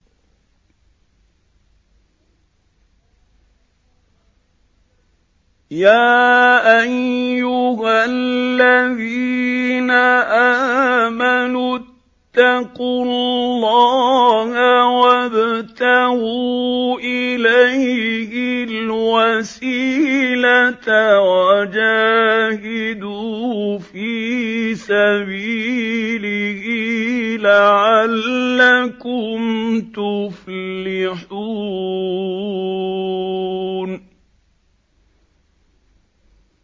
يَا أَيُّهَا الَّذِينَ آمَنُوا اتَّقُوا اللَّهَ وَابْتَغُوا إِلَيْهِ الْوَسِيلَةَ وَجَاهِدُوا فِي سَبِيلِهِ لَعَلَّكُمْ تُفْلِحُونَ